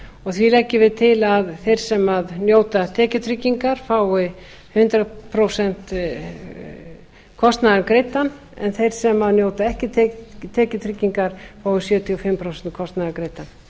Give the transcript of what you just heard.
því leggjum við til að þeir sem njóta tekjutryggingar fái hundrað prósent kostnaðar greiddan en þeir sem njóta ekki tekjutryggingar fái sjötíu og fimm prósent af kostnaði greiddan